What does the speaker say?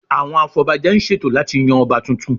Àwọn afọbajẹ ń ṣètò láti yan Ọba tuntun